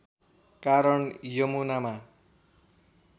कारण यमुनामा